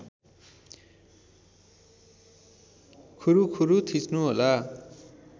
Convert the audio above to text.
खुरुखुरु थिच्नु होला